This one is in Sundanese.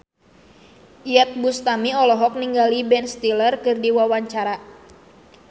Iyeth Bustami olohok ningali Ben Stiller keur diwawancara